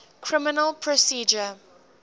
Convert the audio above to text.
criminal procedure